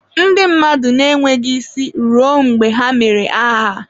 Ndị mmadụ na-enweghị isi ruo mgbe ha mere aha